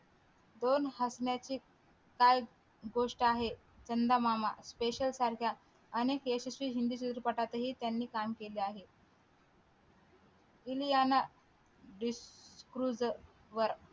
दोन हसण्याची काय गोष्ट आहे चंदामामा पेशाल सारख्या अनेक यशस्वी हिंदी चित्रपटात हि त्यांनी काम केले आहे इलियाना डी क्रूज वर